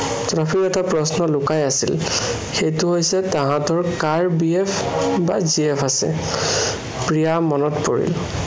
তাতো এটা প্ৰশ্ন লুকাই আছিল, সেইটো হৈছে, তাহাঁতৰ কাৰ BF বা GF আছে। প্ৰিয়াৰ মনত পৰিল